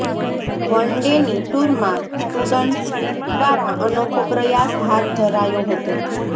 one ડેની ટૂરમાં students દ્વારા અનોખો પ્રયાસ હાથ ધરાયો હતો